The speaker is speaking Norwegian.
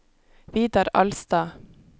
Vidar Alstad